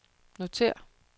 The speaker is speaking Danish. notér